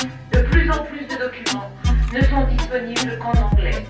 De plus en plus de documents ne sont disponibles qu'en anglais.